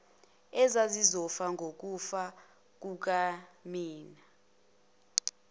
ezazizofa ngokufa kukanina